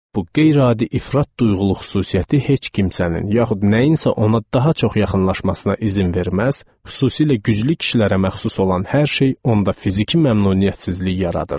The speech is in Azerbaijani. Bu qeyri-adi ifrat duyğuluq xüsusiyyəti heç kim sənin, yaxud nəyinsə ona daha çox yaxınlaşmasına izin verməz, xüsusilə güclü kişilərə məxsus olan hər şey onda fiziki məmnuniyyətsizlik yaradırdı.